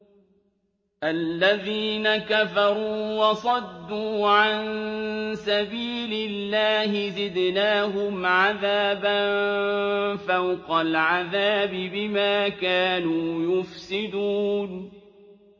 الَّذِينَ كَفَرُوا وَصَدُّوا عَن سَبِيلِ اللَّهِ زِدْنَاهُمْ عَذَابًا فَوْقَ الْعَذَابِ بِمَا كَانُوا يُفْسِدُونَ